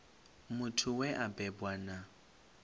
muthu we a bebwa na